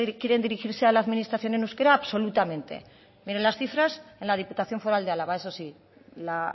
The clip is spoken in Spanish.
quieren dirigirse a la administración en euskera absolutamente miren las cifras en la diputación foral de álava eso sí la